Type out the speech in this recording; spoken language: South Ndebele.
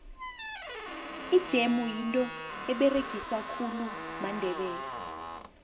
ijemu yinto eberegiswa khulu mandebele